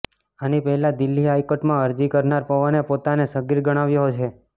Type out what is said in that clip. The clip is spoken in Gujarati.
આની પહેલાં દિલ્હી હાઇકોર્ટમાં અરજી કરનાર પવને પોતાને સગીર ગણાવ્યો છે